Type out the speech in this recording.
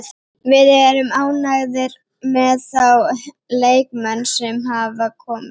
Við erum ánægðir með þá leikmenn sem hafa komið.